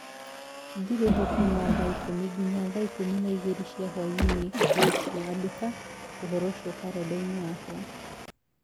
Ndirĩ ho kuuma thaa ikũmi nginya thaa ikũmi na igĩrĩ cia hwaĩ-inĩ rũciũ. Andĩka ũndũ ũcio karenda-inĩ yakwa